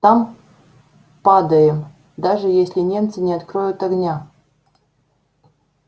там падаю даже если немцы не откроют огня